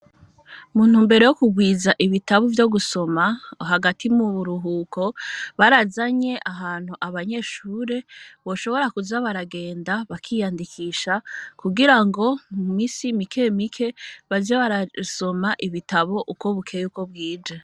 Mu ntumbero yo kurwiza ibitabo vyo gusoma hagati mu buruhuko barazanye ahantu abanyeshure boshobora kuza baragenda bakiyandikisha kugirango mu misi mike mike baze barasoma ibitabo uko bukeye uko bwije.